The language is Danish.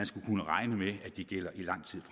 skal kunne regne med at de gælder i lang tid